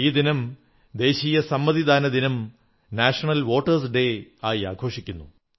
ഈ ദിനം ദേശീയ സമ്മതിദാന ദിനം നാഷണൽ വോട്ടേഴ്സ് ഡേ ആയി ആഘോഷിക്കുന്നു